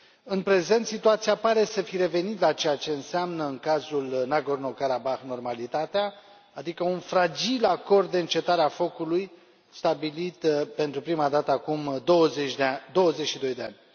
În prezent, situația pare să fi revenit la ceea ce înseamnă, în cazul Nagorno Karabah, normalitatea, adică un fragil acord de încetare a focului stabilit pentru prima dată acum 22 de ani.